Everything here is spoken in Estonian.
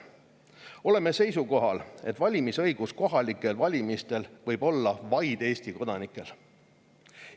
Oleme seisukohal, et valimisõigus võib kohalikel valimistel olla vaid Eesti kodanikel.